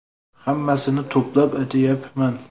Hammasini to‘plab aytyapman.